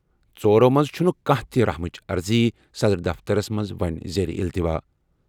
ژورو منٛزٕ چھُنہٕ کانٛہہ تہِ رحم چہِ عرضی صدر دفترَس منٛز وۄنۍ زیر التوا ۔